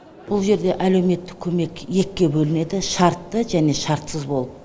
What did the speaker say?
бұл жерде әлеуметтік көмек екіге бөлінеді шартты және шартсыз болып